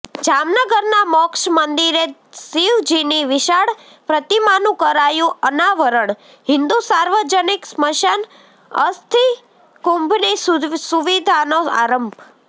જામનગરના મોક્ષ મંદિરે શિવજીની વિશાળ પ્રતિમાનું કરાયું અનાવરણ હિન્દુ સાર્વજનિક સ્મશાન અસ્થિકુંભની સુવિધાનો આરંભ